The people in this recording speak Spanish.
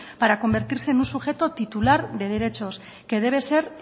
para convertirse en un sujeto titular de derechos que debe ser